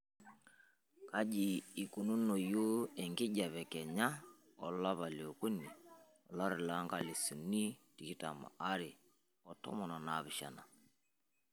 kaji eikununonoyu enkijiape kenya olopa leokuni olari loonkalisuni tikitam are otom onaapishana